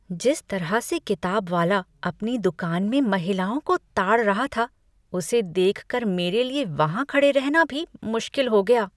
जिस तरह से किताब वाला अपनी दुकान में महिलाओं को ताड़ रहा था, उसे देख कर मेरे लिए वहाँ खड़े रहना भी मुश्किल हो गया।